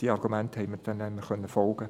Den Argumenten konnten wir folgen.